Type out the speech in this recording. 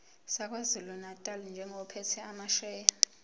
sakwazulunatali njengophethe amasheya